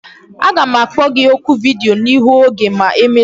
Aga m akpọ gi oku vidiyo n'ihu oge ma emecha